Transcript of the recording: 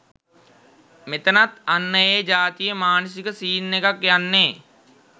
මෙතනත් අන්න ඒ ජාතියෙ මානසික සීන් එකක් යන්නෙ.